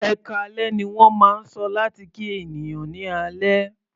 "Ẹkáalẹ́" ní wọ́n máa ń sọ láti kí ènìyàn ní alẹ́.